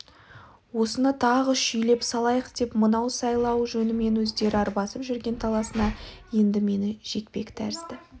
осыны тағы шүйлеп салайық деп мынау сайлау жөнімен өздері арбасып жүрген таласына енді мені жекпек тәрізді